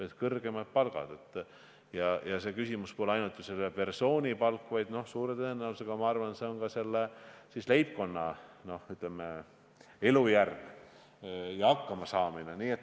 Ja küsimus pole ju ainult selle konkreetse persooni palgas, vaid ma arvan, et suure tõenäosusega on olulised ka selle leibkonna, ütleme, elujärg ja hakkamasaamine.